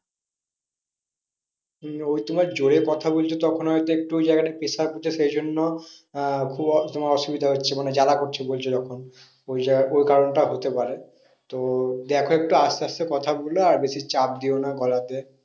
হম ওই তোমার জোরে কথা বললে তখন হয়তো একটু ওই জায়গাটা pressure পড়ছে, সেই জন্য আহ তোমার কোন অসুবিধা হচ্ছে। মানে জ্বালা করছে বলছো যখন। ওইটা ওই কারণটা হতে পারে। তো দেখো একটু আস্তে আস্তে কথা বলো আর বেশি চাপ দিও না গলাতে।